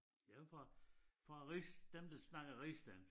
Ja fra fra rigs dem der snakker rigsdansk